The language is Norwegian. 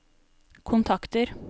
kontakter